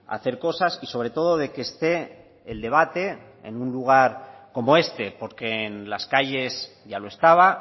a hacer cosas y sobre todo de que este el debate en un lugar como este porque en las calles ya lo estaba